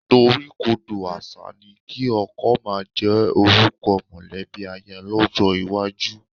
Ìdoríkodò àṣà ni kí ọkọ máa jẹ́ orúkọ mọ̀lẹ́bí aya lọ́jọ́ iwájú